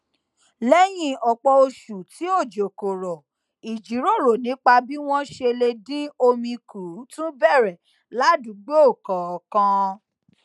léyìn òpò oṣù tí òjò kò rò ìjíròrò nípa bí wón ṣe lè dín omi kù tún bèrè ládùúgbò kòòkan